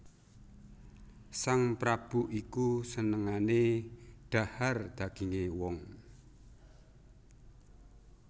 Sang prabu iku senengané dhahar dagingé wong